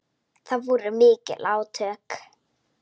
Það voru mikil átök.